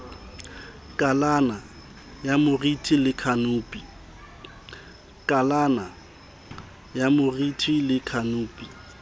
kalana ya moriti le khanopi